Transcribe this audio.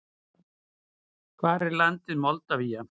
Hvar er landið Moldavía?